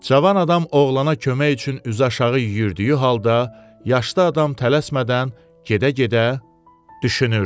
Cavan adam oğlana kömək üçün üzü aşağı yüyürdüyü halda, yaşlı adam tələsmədən gedə-gedə düşünürdü.